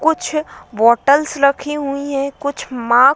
कुछ बॉटल्स रखी हुई है कुछ मॉक --